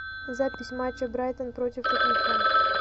запись матча брайтон против тоттенхэм